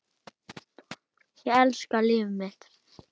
Ég elska líf mitt.